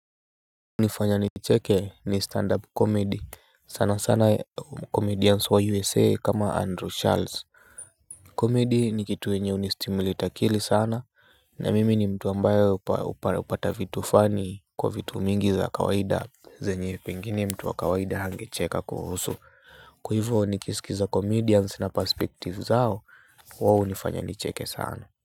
Hunifanya nicheke ni stand up comedy sana sana comedians wa USA kama Andrew Charles Comedy ni kitu yenye huni stimulate akili sana na mimi ni mtu ambaye hupata vitu funny kwa vitu mingi za kawaida zenye pengine mtu wa kawaida hangecheka kuhusu. Kwa hivo nikiskiza comedians na perspective zao wao hunifanya nicheke sana.